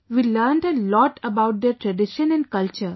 We learnt a lot about their tradition & culture